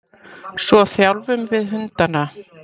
Svo þjálfum við hundana.